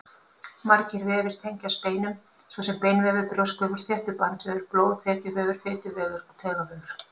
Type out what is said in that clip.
Margir vefir tengjast beinum, svo sem beinvefur, brjóskvefur, þéttur bandvefur, blóð, þekjuvefur, fituvefur og taugavefur.